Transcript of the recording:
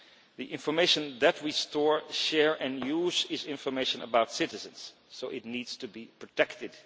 The information that we store, share and use is information about citizens, so it needs to be protected.